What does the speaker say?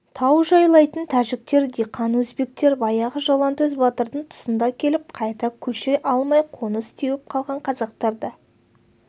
тау жайлайтын тәжіктер диқан өзбектер баяғы жалаңтөс батырдың тұсында келіп қайта көше алмай қоныс теуіп қалған қазақтар да